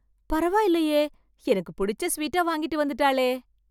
பரவாயில்லயே, எனக்கு புடிச்ச ஸவீட்டா வாங்கிட்டு வந்துட்டாளே.